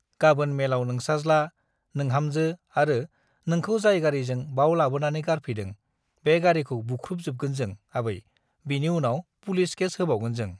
गाबोन मेलाव नोंसाज्ला , नोंहामजो आरो नोंखौ जाय गारिजों बाव लाबोनानै गारफैदों बे गारीखौ बुख्रुबजोबगोन जों आबै बिनि उनाव पुलिस केस होबावगोन जों ।